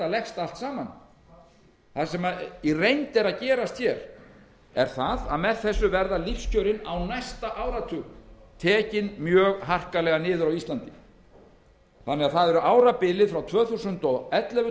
leggst allt saman það sem í reynd er að gerast er að með þessu verða lífskjörin á næsta áratug tekin mjög harkalega niður á íslandi árabilið frá tvö þúsund og ellefu til tvö þúsund og